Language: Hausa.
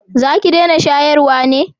za ki dena shayarwa ne?